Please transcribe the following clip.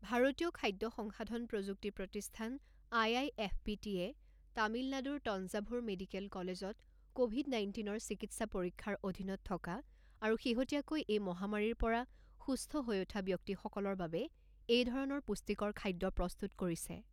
ভাৰতীয় খাদ্য সংশাধন প্ৰযুক্তি প্ৰতিষ্ঠান আই আই এফ পি টিয়ে তামিলনাডুৰ তঞ্জাভুৰ মেডিকেল কলেজত ক'ভিড নাইণ্টীনৰ চিকিৎসা পৰীক্ষাৰ অধীনত থকা আৰু শেহতীয়াকৈ এই মহামাৰীৰ পৰা সুস্থ হৈ উঠা ব্যক্তিসকলৰ বাবে এইধৰণৰ পুষ্টিকৰ খাদ্য প্ৰস্তুত কৰিছে।